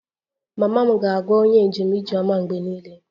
Mama m ga-agwa onye njem 'ijeoma' mgbe niile